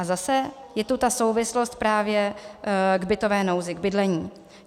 A zase je tu ta souvislost právě k bytové nouzi, k bydlení.